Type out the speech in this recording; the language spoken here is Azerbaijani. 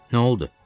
Nə oldu?